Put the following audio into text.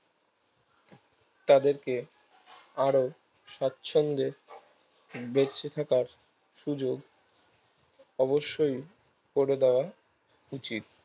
তাদেরকে আরো সাচ্ছন্দে দেখতে থাকার সুযোগ অবশই করে দাওয়া উচিত